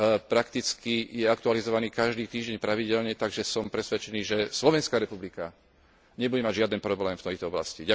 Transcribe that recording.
Prakticky je aktualizovaný každý týždeň pravidelne, takže som presvedčený, že Slovenská republika nebude mať žiaden problém v tejto oblasti.